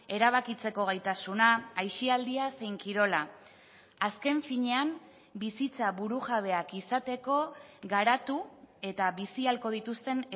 erabakitzeko gaitasuna aisialdia zein kirola azken finean bizitza burujabeak izateko garatu eta bizi ahalko dituzten